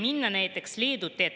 30 sekundit.